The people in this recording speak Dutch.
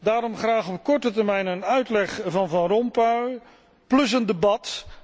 Daarom graag op korte termijn een uitleg van Van Rompuy plus een debat.